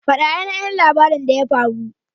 Fada ainihin labarin abin da ya faru!